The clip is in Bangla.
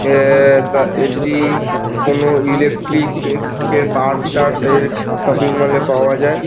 এ -এ এটি কোনো ইলেকট্রিক -এর পার্টস টার্টস এর শপিং মল -এ পাওয়া যায়।